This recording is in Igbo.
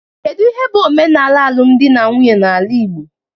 Kedu ihe bụ omenala alụm di na nwunye n'ala igbo?